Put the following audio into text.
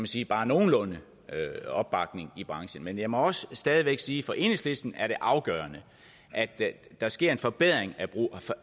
sige bare nogenlunde opbakning i branchen men jeg må også stadig væk sige at for enhedslisten er det afgørende at der sker en forbedring